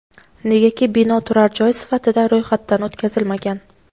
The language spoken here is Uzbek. Negaki bino turar joy sifatida ro‘yxatdan o‘tkazilmagan.